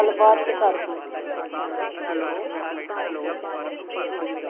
ਚਲ ਬਾਅਦ ਚ ਕਰਦੀ।